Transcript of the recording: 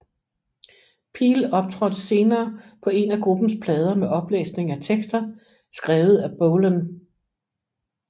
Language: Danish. Peel optrådte senere på en af gruppens plader med oplæsning af tekster skrevet af Bolan